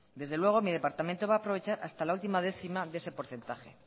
desde luego mi departamento va a aprovechar hasta la última décima de ese porcentaje